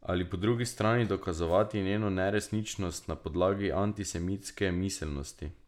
Ali, po drugi strani, dokazovati njeno neresničnost na podlagi antisemitske miselnosti.